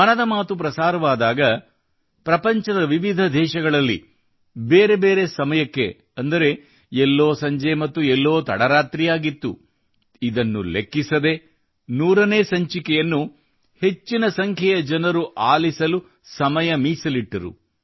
ಮನದ ಮಾತು ಪ್ರಸಾರವಾದಾಗ ಪ್ರಪಂಚದ ವಿವಿಧ ದೇಶಗಳಲ್ಲಿ ಬೇರೆ ಬೇರೆ ಸಮಯಕ್ಕೆ ಅಂದರೆ ಎಲ್ಲೋ ಸಂಜೆ ಮತ್ತು ಎಲ್ಲೋ ತಡರಾತ್ರಿಯಾಗಿತ್ತು ಇದನ್ನು ಲೆಕ್ಕಿಸದೆ 100 ನೇ ಸಂಚಿಕೆಯನ್ನು ಹೆಚ್ಚಿನ ಸಂಖ್ಯೆಯ ಜನರು ಆಲಿಸಲು ಸಮಯ ಮೀಸಲಿಟ್ಟರು